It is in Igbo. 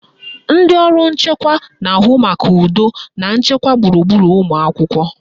Ndị ọrụ nchekwa na-ahụ maka udo na nchekwa gburugburu ụlọakwụkwọ